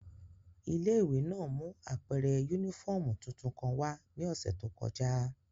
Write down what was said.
Ile-iwe náa mu apẹrẹ unifọmú tuntun kan wa ni ọsẹ to kọja.